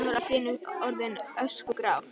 Himinninn var allt í einu orðinn öskugrár.